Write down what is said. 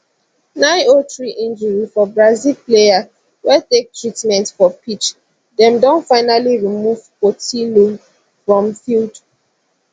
903 injury for brazil player wey take treatment for pitch dem don finally remove portilho from field